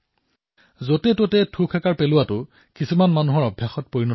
যতেততে যিকোনো স্থানতে থু পেলোৱাটো এক বেয়া অভ্যাসলৈ পৰিণত হৈছিল